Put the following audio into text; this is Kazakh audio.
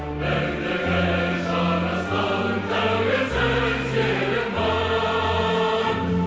бірлігі жарасқан тәуелсіз елім бар